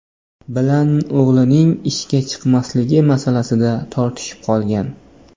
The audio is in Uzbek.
bilan o‘g‘lining ishga chiqmasligi masalasida tortishib qolgan.